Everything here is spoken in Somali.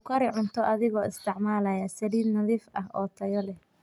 Ku kari cunto adigoo isticmaalaya saliid nadiif ah oo tayo leh.